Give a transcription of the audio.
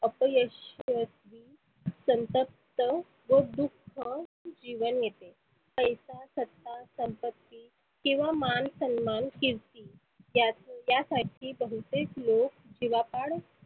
अपयश संतप्त, व दुःख जिवन येते. पैसा, सत्ता, संपती किंवा मान सन्मान किर्ती या या साठी बहुतेक लोक जिवापाड